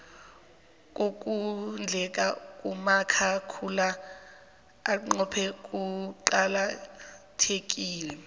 kukondleka kumakhakhula axaxhe kuqaka thekile